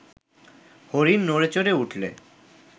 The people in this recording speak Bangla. হরিণ নড়েচড়ে উঠলে